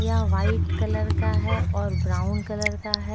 यह white colour का है और ब्राउन कलर का है।